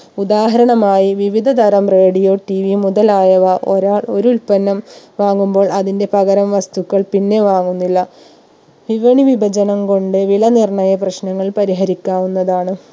ഉദാഹരണമായി വിവിധ തരം RadioTV മുതലായവ ഒരാൾ ഒരു ഉൽപ്പന്നം വാങ്ങുമ്പോൾ അതിന്റെ പകരം വസ്തുക്കൾ പിന്നെ വാങ്ങുന്നില്ല വിപണി വിഭജനം കൊണ്ട് വില നിർണ്ണയ പ്രശ്നങ്ങൾ പരിഹരിക്കാവുന്നതാണ്